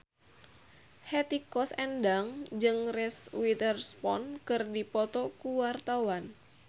Hetty Koes Endang jeung Reese Witherspoon keur dipoto ku wartawan